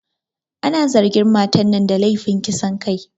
Ana zargin matar nan da lefin kisan kai